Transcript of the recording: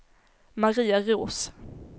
Maria Roos